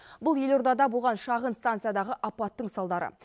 бұл елордада болған шағын станциядағы апаттың салдары